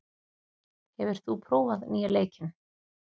, hefur þú prófað nýja leikinn?